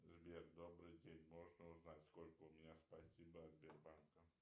сбер добрый день можно узнать сколько у меня спасибо от сбербанка